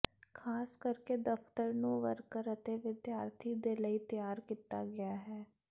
ਖ਼ਾਸ ਕਰਕੇ ਦਫ਼ਤਰ ਨੂੰ ਵਰਕਰ ਅਤੇ ਵਿਦਿਆਰਥੀ ਦੇ ਲਈ ਤਿਆਰ ਕੀਤਾ ਗਿਆ ਹੈ